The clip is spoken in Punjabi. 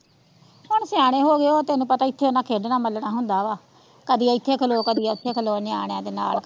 ਹੁਣ ਸਿਆਣੇ ਹੋ ਗਇਓ ਤੈਨੂੰ ਪਤਾ ਇੱਥੇ ਓਨਾ ਖੇਡਣਾ ਮਲਣਾ ਹੁੰਦਾ ਵਾਂ ਕੜੀ ਇੱਥੇ ਖਲੋ ਕੜੀ ਓਥੇ ਖਲੋ ਨਿਆਣਿਆ ਦੇ ਨਾਲ।